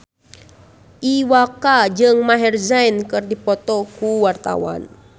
Iwa K jeung Maher Zein keur dipoto ku wartawan